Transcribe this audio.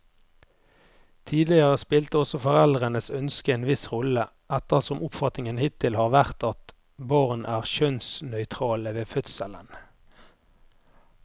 Tidligere spilte også foreldrenes ønske en viss rolle, ettersom oppfatningen hittil har vært at barn er kjønnsnøytrale ved fødselen.